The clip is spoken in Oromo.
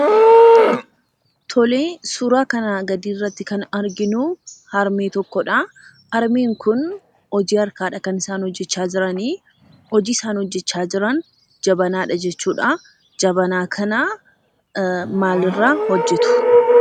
Tolee, suuraa kana gadiirratti kan arginuu, harmee tokko dha. Harmeen Kun hojii harkaadha kan isaan hojjechaa jiranii. Hojii isaan hojjechaa jiran jabanaadha jechuudha. Jabanaa kanaa maalirraa hojjetu?